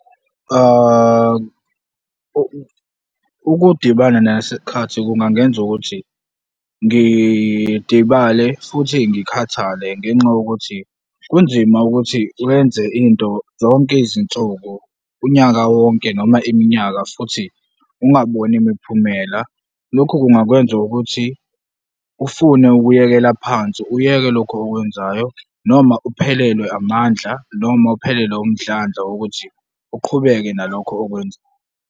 Ukudibana naso isikhathi kungangenza ukuthi ngidibale futhi ngikhathale ngenxa yokuthi kunzima ukuthi wenze into zonke izinsuku, unyaka wonke noma iminyaka futhi ungaboni imiphumela. Lokhu kungakwenza ukuthi ufune ukuyekela phansi, uyeke lokhu okwenzayo noma uphelelwe amandla noma uphelelwe umdlandla wokuthi uqhubeke nalokho okwenzayo.